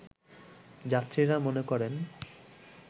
যাত্রীরা মনে করেন